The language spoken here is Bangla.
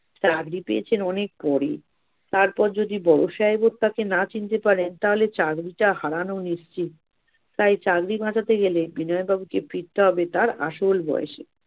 চাগরি পেয়েছেন অনেক পরে, তারপর যদি বড় সাহেবের কাছে না চিনতে পারেন, তাহলে চাগরিটা হারানো নিশ্চিত। তাই চাগরি বাঁচাতে গেলে বাবুকে ফিরতে হবে তার আসল বয়সে।